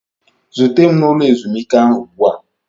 Zute m n'ụlọ ezumike ahụ ugbu a!